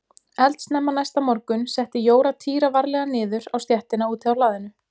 Eldsnemma næsta morgun setti Jóra Týra varlega niður á stéttina úti á hlaðinu.